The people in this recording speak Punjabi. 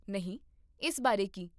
ਨਹੀਂ, ਇਸ ਬਾਰੇ ਕੀ?